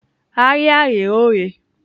Ahịa ghe oghe.